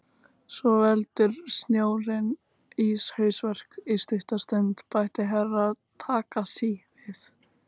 Svo veldur snjórinn íshausverk í stutta stund, bætti Herra Takashi við.